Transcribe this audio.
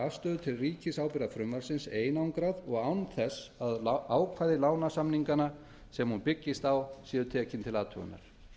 afstöðu til ríkisábyrgðarfrumvarpsins einangrað og án þess að ákvæði lánasamninganna sem hún byggist á séu tekin til athugunar